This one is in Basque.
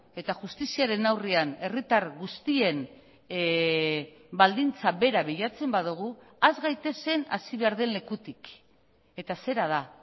eta justiziaren aurrean herritar guztien baldintza bera bilatzen badugu has gaitezen hasi behar den lekutik eta zera da